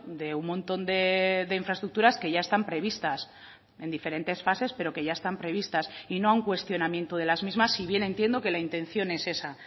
de un montón de infraestructuras que ya están previstas en diferentes fases pero que ya están previstas y no un cuestionamiento de las mismas si bien entiendo que la intención es esa